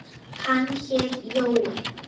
Hann hét Jói.